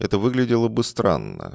это выглядело бы странно